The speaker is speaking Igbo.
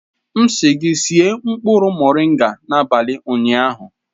M sị gị sie nkpụrụ moringa n'abalị ụnyaahụ!